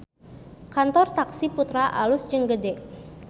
Kantor Taksi Putra alus jeung gede